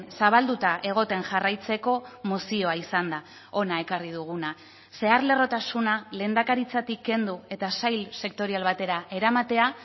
zabalduta egoten jarraitzeko mozioa izan da hona ekarri duguna zeharlerrotasuna lehendakaritzatik kendu eta sail sektorial batera eramatea